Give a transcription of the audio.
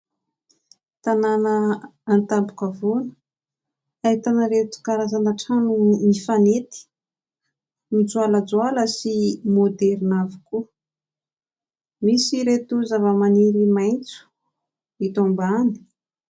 Tanàna an-tampon-kavoana ahitana ireto karazana trano mifanety mijoalajoala sy maoderina avokoa. Misy ireto zavamaniry maitso eto ambany.